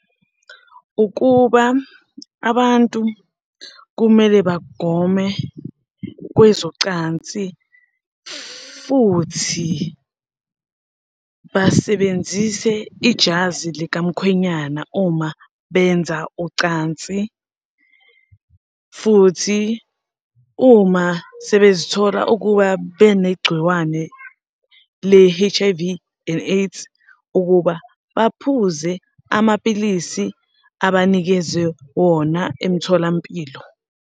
Ukuba abantu kumele bagome kwezocansi, futhi basebenzise ijazi likamkhwenyana uma benza ucansi, futhi uma sebezithola ukuba benegciwane le-H_I_V and AIDS, ukuba baphuze amapilisi abanikezwe wona emtholampilo.